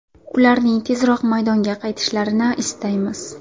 Ularning tezroq maydonga qaytishlarini istaymiz.